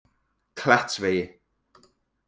Klettsvegi